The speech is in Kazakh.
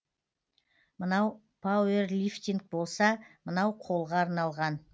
мынау пауэрлифтинг болса мынау қолға арналған